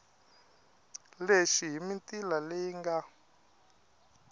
lexi hi mitila leyi nga